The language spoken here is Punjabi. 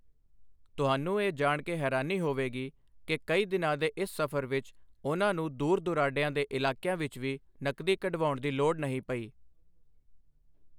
ਤੁਹਾਨੂੰ ਇਹ ਜਾਣ ਕੇ ਹੈਰਾਨੀ ਹੋਵੇਗੀ ਕਿ ਕਈ ਦਿਨਾਂ ਦੇ ਇਸ ਸਫ਼ਰ ਵਿੱਚ ਉਨ੍ਹਾਂ ਨੂੰ ਦੂਰ ਦੁਰਾਡੇ ਦੇ ਇਲਾਕਿਆਂ ਵਿੱਚ ਵੀ ਨਕਦੀ ਕਢਵਾਉਣ ਦੀ ਲੋੜ ਨਹੀਂ ਪਈ।